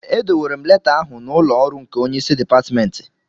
Edowere m leta ahụ n'ụlọ ọrụ nke onye isi Dipatmentị